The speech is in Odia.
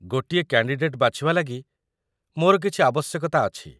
ଗୋଟିଏ କ୍ୟାଣ୍ଡିଡେଟ୍ ବାଛିବା ଲାଗି ମୋର କିଛି ଆବଶ୍ୟକତା ଅଛି ।